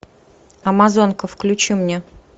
амазонка включи мне